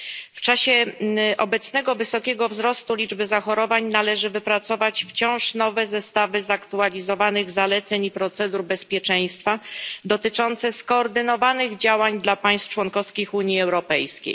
W czasie obecnego wysokiego wzrostu liczby zachorowań należy wypracować wciąż nowe zestawy zaktualizowanych zaleceń i procedur bezpieczeństwa dotyczące skoordynowanych działań dla państw członkowskich Unii Europejskiej.